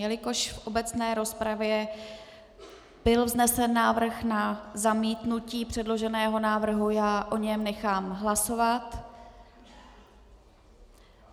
Jelikož v obecné rozpravě byl vznesen návrh na zamítnutí předloženého návrhu, já o něm nechám hlasovat.